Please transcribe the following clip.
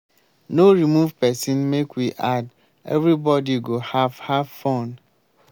no remove person make we add everybody go have have fun